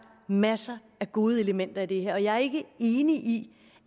masser af gode elementer i det her og jeg er ikke enig i